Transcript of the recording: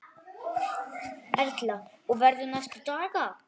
Erla: Og verður næstu daga?